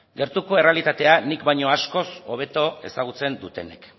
gertuko errealitatea nik baino askoz hobeto ezagutzen dutenek